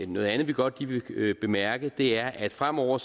noget andet vi godt lige vil bemærke og det er at fremover